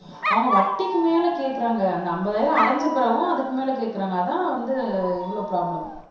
அவங்க வட்டிக்கு மேல கேக்குறாங்க அந்த ஐம்பதாயிரம் அடைஞ்ச பிறகும் அதுக்கு மேல கேக்குறாங்க அதான் வந்து இவ்வளவு ப்ரோப்லம்